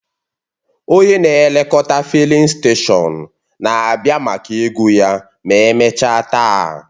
Onye na-elekọta fịlịn steshọn na-abịa maka ego ya ma emechaa taa